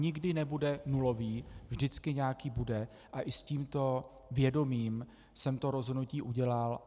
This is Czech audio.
Nikdy nebude nulový, vždycky nějaký bude, ale i s tímto vědomím jsem to rozhodnutí udělal.